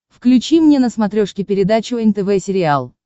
включи мне на смотрешке передачу нтв сериал